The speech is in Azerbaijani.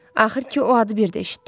Axır ki, o adı birdə eşitdim.